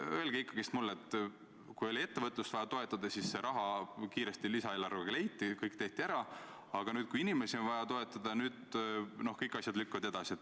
Kui oli ettevõtlust vaja toetada, siis see raha kiiresti lisaeelarvega leiti, kõik tehti ära, aga nüüd, kui inimesi on vaja toetada, siis asjad lükkuvad edasi.